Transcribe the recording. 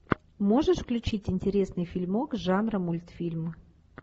можешь включить интересный фильмок жанра мультфильм